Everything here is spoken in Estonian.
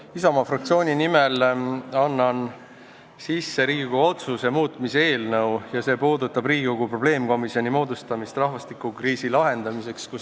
Annan Isamaa fraktsiooni nimel üle Riigikogu otsuse muutmise eelnõu, mis puudutab Riigikogu probleemkomisjoni rahvastikukriisi lahendamiseks.